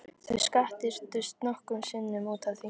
Þau skattyrtust nokkrum sinnum út af því.